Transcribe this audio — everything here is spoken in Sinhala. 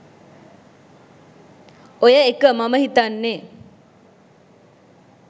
ඔය එක මම හිතන්නනෙ